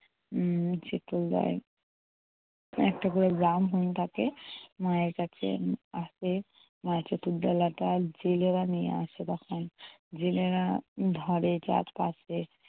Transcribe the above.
উম একটা করে ব্রাহ্মণ থাকে, মায়ের কাছে আসে। মায়ের চতুর্দোলা জেলেরা নিয়ে আসে তখন। জেলেরা ধরে চারপাশে।